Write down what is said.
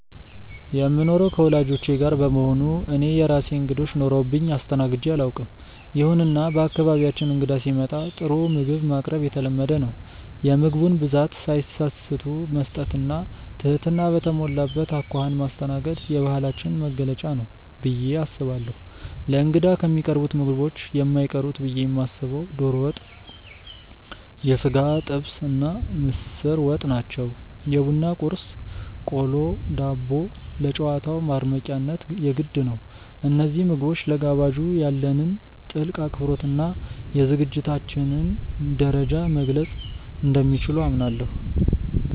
የምኖረው ከወላጆቼ ጋር በመሆኑ እኔ የራሴ እንግዶች ኖረውብኝ አስተናግጄ አላውቅም። ይሁንና በአካባቢያችን እንግዳ ሲመጣ ጥሩ ምግብ ማቅረብ የተለመደ ነው። የምግቡን ብዛት ሳይሰስቱ መስጠት እና ትህትና በተሞላበት አኳኋን ማስተናገድ የባህላችን መገለጫ ነው ብዬ አስባለሁ። ለእንግዳ ከሚቀርቡት ምግቦች የማይቀሩት ብዬ የማስበው ዶሮ ወጥ፣ የሥጋ ጥብስ እና ምስር ወጥ ናቸው። የቡና ቁርስ (ቆሎ፣ ዳቦ) ለጨዋታው ማድመቂያነት የግድ ነው። እነዚህ ምግቦች ለጋባዡ ያለንን ጥልቅ አክብሮት እና የዝግጅታችንን ደረጃ መግለፅ እንደሚችሉ አምናለሁ።